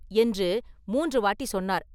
என்று மூன்று வாட்டி சொன்னார்.